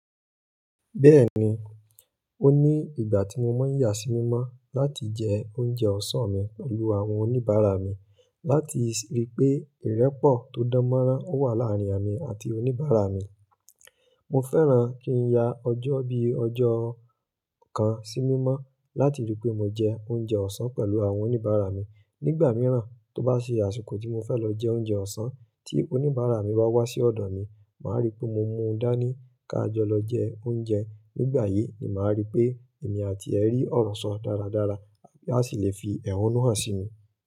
Bẹ́ẹ̀ni, ó ní ìgbà tí mo máa ń yà sí mímọ́ láti jẹ oúnjẹ ọ̀sán mi pẹ̀lú àwọn oníbàárà mi láti rí pé ìrẹ́pọ̀ tó dán mọ́rán wà láàárín èmi àti oníbàárà mi. Mo fẹ́ràn kí n ya ọjọ́ bí i ọjọ́ kan sí mímọ́ láti rí pé mo jẹ oúnjẹ ọ̀sán pẹ̀lú àwọn oníbàárà mi. Nígbà mìíràn tó bá ṣe àsìkò tí mo fẹ́ lọ jẹ oúnjẹ ọ̀sán tí oníbàárà mi bá wá sí ọ̀dọ̀ mi, màá rí pé mo mú un dání ká jọ lọ jẹ oúnjẹ. Nígbà yìí ni màá rí pé èmi àti ẹ rí ọ̀rọ̀ sọ dáradára, a sì le fi ẹ̀hónú hàn sí mi.